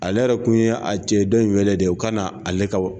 Ale yɛrɛ kun ye a cɛ dɔ in wele de, o ka na ale ka